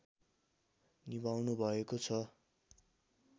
निभाउनुभएको छ